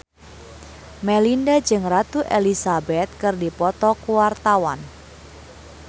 Melinda jeung Ratu Elizabeth keur dipoto ku wartawan